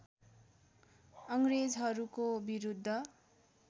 अङ्ग्रेजहरूको विरुद्ध